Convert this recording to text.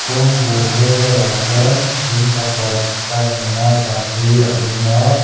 kawng velah hian in pakhat tile nena sak hi a ding a.